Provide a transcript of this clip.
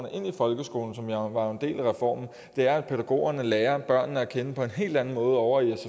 ind i folkeskolen som jo var en del af reformen er at pædagogerne lærer børnene at kende på en helt anden måde ovre i